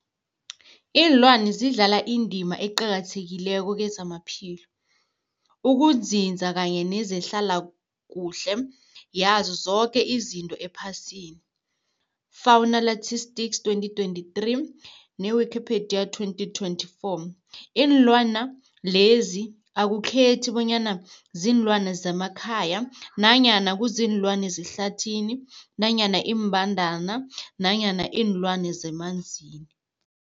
Iinlwana zidlala indima eqakathekileko kezamaphilo, ukunzinza kanye nezehlala kuhle yazo zoke izinto ephasini, Fuanalytics 2023, ne-Wikipedia 2024. Iinlwana lezi akukhethi bonyana ziinlwana zemakhaya nanyana kuziinlwana zehlathini nanyana iimbandana nanyana iinlwana zemanzini.